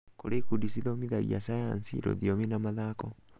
kũri ikundi cithomithagia cayanci, rũthiomi na mathako.